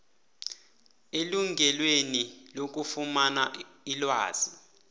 elungelweni lokufumana ilwazi